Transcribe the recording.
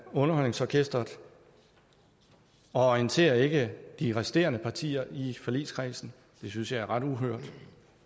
underholdningsorkestret og orienterer ikke de resterende partier i forligskredsen det synes jeg er ret uhørt